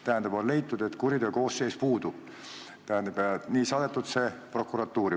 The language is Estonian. Tähendab, on leitud, et kuriteokoosseis puudub, ja nii on see saadetud prokuratuuri.